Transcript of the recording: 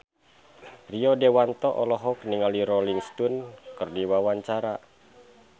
Rio Dewanto olohok ningali Rolling Stone keur diwawancara